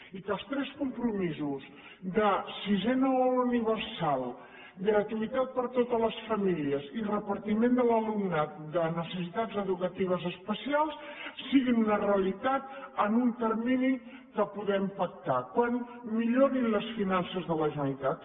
i que els tres compromisos de sisena hora universal gratuïtat per a totes les famí lies i repartiment de l’alumnat de necessitats educatives especials siguin una realitat en un termini que podem pactar quan millorin les finances de la generalitat